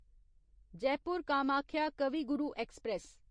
Jaipur Kamakhya Kavi Guru express